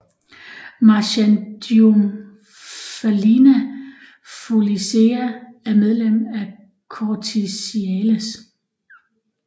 Marchandiomphalina foliacea er medlem af Corticiales